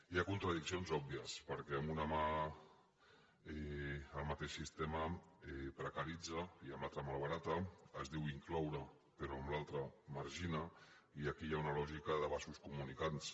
hi ha contradiccions òbvies perquè amb una mà el mateix sistema precaritza i amb l’altra malbarata es diu incloure però amb l’altra margina i aquí hi ha una lògica de vasos comunicants